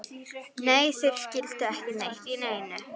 Nei, þeir skildu ekki neitt í neinu.